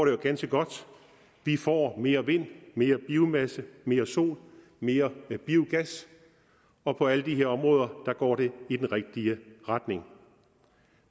jo ganske godt vi får mere vind mere biomasse mere sol mere biogas og på alle de her områder går det i den rigtige retning